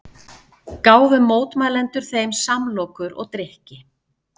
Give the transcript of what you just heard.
Gáfu mótmælendur þeim samlokur og drykki